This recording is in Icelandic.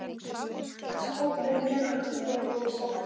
Og vináttan hélst óbreytt meðan báðar voru sama heims.